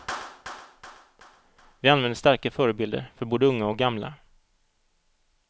Vi använder starka förebilder för både unga och gamla.